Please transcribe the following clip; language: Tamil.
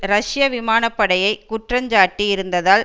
ரஷ்ய விமானப்படையை குற்றஞ்சாட்டி இருந்தததால்